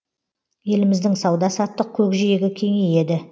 еліміздің сауда саттық көкжиегі кеңейеді